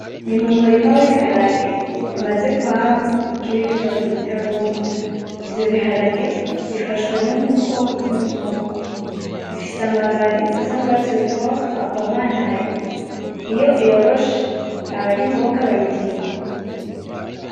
Ni mu murima wibiharage bimaze kwama bikiri bitoto bitaruma ivyo biharage bifashwe nukuboko k'umuzungu bifise amababi asa nurwatsi rutoto rukomantaye iyo yoroshe aba ari imboga bayita imikubi.